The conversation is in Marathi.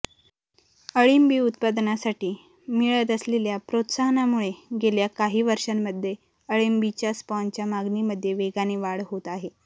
अळिंबी उत्पादनासाठी मिळत असलेल्या प्रोत्साहनामुळे गेल्या काही वर्षांमध्ये अळिंबीच्या स्पॉनच्या मागणीमध्ये वेगाने वाढ होत आहे